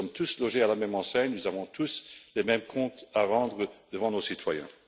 Nous sommes tous logés à la même enseigne et avons tous les mêmes comptes à rendre à nos citoyens.